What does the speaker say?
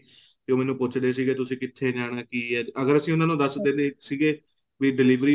ਤੇ ਉਹ ਮੈਨੂੰ ਪੁੱਚਦੇ ਸੀਗੇ ਕੇ ਤੁਸੀਂ ਕਿੱਥੇ ਜਾਣਾ ਕੀ ਹੈ ਅਗ਼ਰ ਅਸੀਂ ਉਹਨਾ ਨੂੰ ਦੱਸਦੇ ਸੀਗੇ ਵੀ delivery